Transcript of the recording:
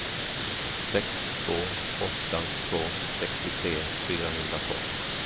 sex två åtta två sextiotre fyrahundratolv